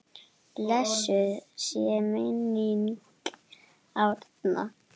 Blessuð sé minning Árna.